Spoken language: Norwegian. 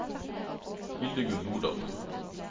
Hildegunn Nordal